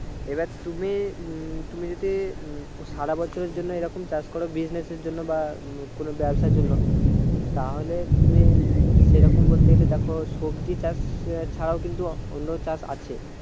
এবার তুমি উম তুমি যদি উম সারা বছরের জন্য এইরকম চাষ করো বা business এর জন্য বা কোনো ব্যাবসার জন্য তাহলে তুমি সেরকম বলতে গেলে দেখো সবজি চাষ ছাড়াও কিন্তু অন্য চাষ আছে